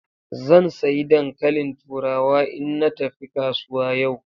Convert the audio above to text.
Zan sayi dankalin turawa in na tafi kasuwa yau.